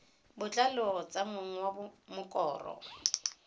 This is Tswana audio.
botlalo tsa mong wa mokoro